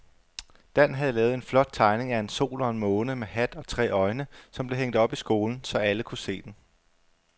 Dan havde lavet en flot tegning af en sol og en måne med hat og tre øjne, som blev hængt op i skolen, så alle kunne se den.